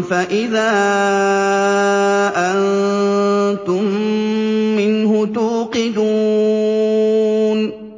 فَإِذَا أَنتُم مِّنْهُ تُوقِدُونَ